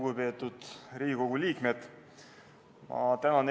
Lugupeetud Riigikogu liikmed!